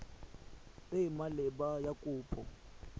e e maleba ya kopo